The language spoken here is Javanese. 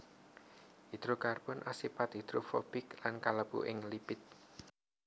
Hidrokarbon asipat hidrofobik lan kalebu ing lipid